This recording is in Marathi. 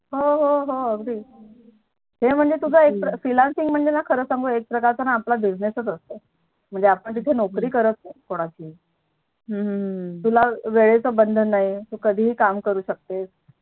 हो हो हो अगदी. तुझं हे Freelancing म्हणजे खर सांगू एक प्रकारचं आपलं Business च असतो म्हणजे आपण तिथे नोकरी करत नाही कोणाची हम्म तुला वेळेचे बंधन नाही. तू कधीही काम करू शकतेस